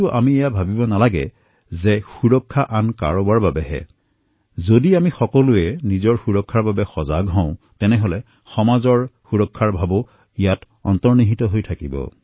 আমি এয়া ভাবিব নালাগে যে সুৰক্ষা অইন কাৰোবাৰ বাবেহে যদি আমি নিজৰ সুৰক্ষাৰ বিষয়ে সজাগ হওঁ তেন্তে তাত সমাজৰ সুৰক্ষাৰ ভাবো তাতে অন্তৰ্নিহিত হৈ থাকে